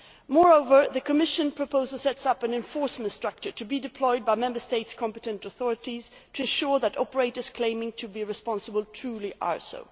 Moreover, the Commission proposal sets up an enforcement structure to be deployed by Member States' competent authorities to ensure that operators claiming to be responsible are truly so.